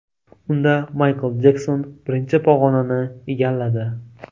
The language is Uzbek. Unda Maykl Jekson birinchi pog‘onani egalladi.